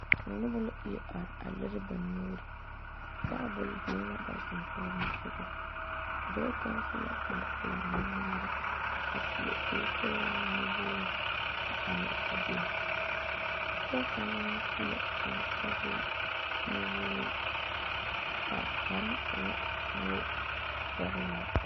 Noba ire are a leri ba nuure tabol biŋ la a ba sonsogle soga kaŋ su la kpare pelaa nuŋmare a seɛ kuri sɔglaa nuwogre a are a be pɔge kaŋ meŋ su la kpare sɔglaa nuwogre a kparo e la wogi sɔglaa.